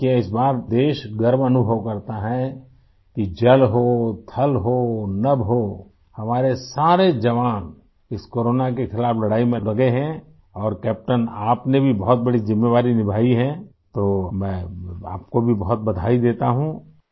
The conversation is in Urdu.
دیکھیئے ، اس بار ملک اس بات پر فخر محسوس کرتا ہے کہ بحری ہو ،بری ہو یا فضائیہ ہو ، ہمارے سارے جوان ، اس کورونا کے خلاف لڑائی میں مصروف ہیں اور کیپٹن آپ نے بھی بہت بڑی ذمہ داری نبھائی ہے تو میں آپ کو بھی بہت بہت مبارکباد دیتا ہوں